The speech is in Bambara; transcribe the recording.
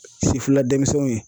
Sifila denmisɛnw ye.